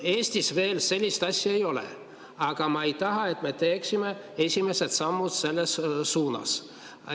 Eestis veel sellist asja ei ole, aga ma ei taha, et me teeksime esimesed sammud selles suunas.